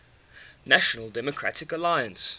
national democratic alliance